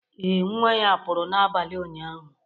Ee, nwa ya pụrụ n'abalị ụnyaahụ